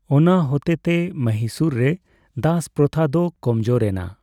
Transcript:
ᱚᱱᱟ ᱦᱚᱛᱮᱛᱮ ᱢᱚᱦᱤᱥᱩᱨ ᱨᱮ ᱫᱟᱥ ᱯᱨᱚᱛᱷᱟ ᱫᱚ ᱠᱚᱢ ᱡᱳᱨᱮᱱᱟ ᱾